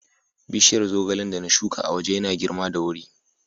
Bishiyar zogalen da na shuka a waje yana girma da wuri.